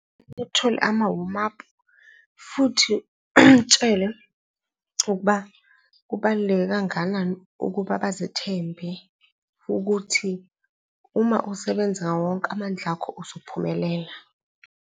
Uthole ama-warm up-u futhi umtshele ukuba kubaluleke kangakanani ukuba bazithembe ukuthi uma usebenza ngawo wonke amandla akho uzophumelela.